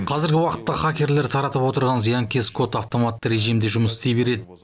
қазіргі уақытта хакерлер таратып отырған зиянкес код автоматты режимде жұмыс істей береді